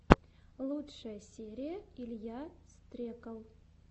лучшая серия илья стрекал